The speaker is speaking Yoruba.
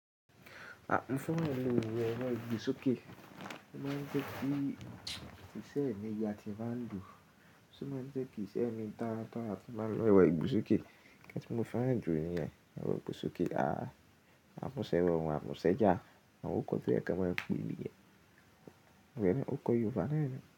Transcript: À ń fẹ́ràn lo ero Ìgbésókè. Ó máa ń jẹ́ kí ìṣẹ̀ ní yà tí n bá ń lò. Ṣé ó máa ń jẹ́ kí ìṣẹ̀ ní tàràtọ̀ a ti baa ń lo ẹ̀rọ̀ Ìgbésókè. Nnkan tí mo fẹ́ràn jù níyẹn, ẹ̀rọ̀ Ìgbésókè. A mú sẹ́wọ̀n, á mú sẹ́jẹ́à, àwọn oko tí ẹ ka máa ń pe níyẹn. Ǹjẹ́ ẹ ní oko Yorùbá lẹ́ẹ̀ni?